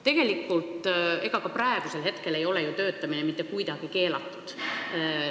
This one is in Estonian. Tegelikult ka praegu ei ole ju töötamine mitte kuidagi keelatud.